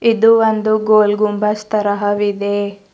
ಇದು ಒಂದು ಗೋಲ್ ಗುಂಬಜ್ ತರಹವಿದೆ.